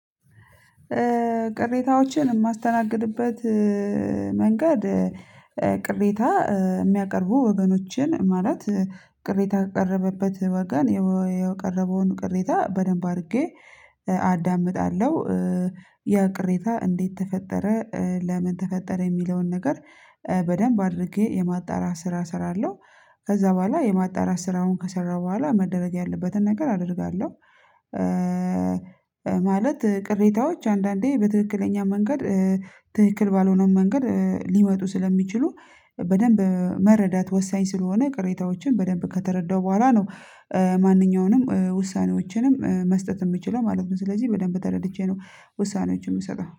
ቅሬታዎችን የማስተናግድበት መንገድ ቅሬታ የሚያቀርቡ ወገኖችን ማለት ቅሬታ ያቀረበበት ወገን ያቀረበውን ቅሬታ በደንብ አድርጌ አዳምጣለሁ ያ ቅሬታ እንዴት ተፈጠረ ለምን ተፈጠረ የሚለውን ነገር በደንብ አድርጌ የማጣራ ስራ እሰራለሁ። ከዛ በኋላ የማጣራ ስራውን ከሰራው በኋላ መደረግ ያለበትን ነገር አደርጋለሁ። ማለት ቅሬታዎች አንዳንዴ በትክክለኛ መንገድ ትክክል ባልሆነው መንገድ ሊመጡ ስለሚችሉ በደንብ መረዳት ወሳኝ ስለሆነ ቅሬታዎችን በደንብ ከተረዳው በኋላ ነው። ማንኛውንም ውሳኔዎችንም መስጠት የምችለው ማለት ነው። ስለዚህ በደንብ ተረድቼ ነው ውሳኔዎችን የምሰጣው